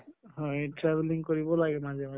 হয় travelling কৰিব লাগে মাজে মাজে